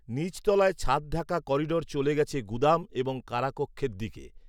নিচতলায় ছাদঢাকা করিডোর চলে গেছে গুদাম এবং কারাকক্ষের দিকে